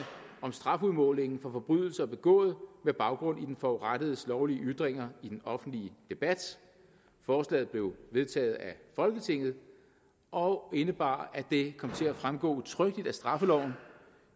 om strafudmåling for forbrydelser begået med baggrund i den forurettedes lovlige ytringer i den offentlige debat forslaget blev vedtaget af folketinget og indebar at det kom til at fremgå udtrykkeligt af straffeloven